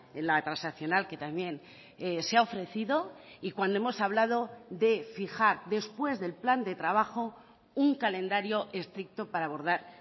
en la transaccional que también se ha ofrecido y cuando hemos hablado de fijar después del plan de trabajo un calendario estricto para abordar